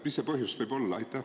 Mis see põhjus võib olla?